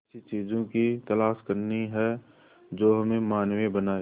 ऐसी चीजों की तलाश करनी है जो हमें मानवीय बनाएं